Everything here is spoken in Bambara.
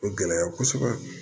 O gɛlɛya kosɛbɛ